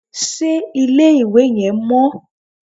Ṣé ilé-ìwẹ̀ yẹn mọ́?